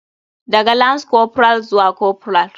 Daga lance corporal zuwa corporal.